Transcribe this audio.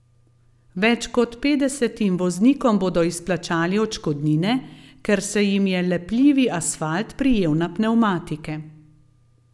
Več kot petdesetim voznikom bodo izplačali odškodnine, ker se jim je lepljivi asfalt prijel na pnevmatike.